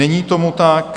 Není tomu tak.